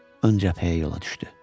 Ön cəbhəyə yola düşdü.